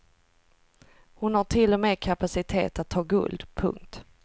Hon har till och med kapacitet att ta guld. punkt